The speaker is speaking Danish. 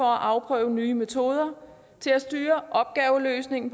afprøve nye metoder til at styre opgaveløsningen